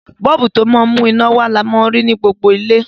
Bọ́ọ̀bù, ti o ma n mú iná wa ni a ma n rí ni gbogbo ilé